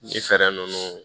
Ni fɛɛrɛ ninnu